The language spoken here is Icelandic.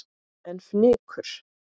En fnykur